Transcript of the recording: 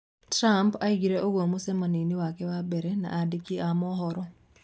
Trump oigire ũguo mũcemanio-inĩ wake wa mbere na andiki a mohoro.